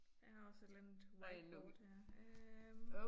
Jeg har også et eller andet whiteboard her øh